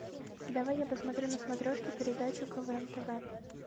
давай я посмотрю на смотрешке передачу квн тв